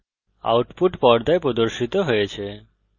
output পর্দায় প্রদর্শিত হয়েছে